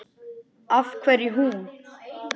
Af hverju hún?